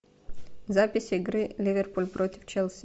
запись игры ливерпуль против челси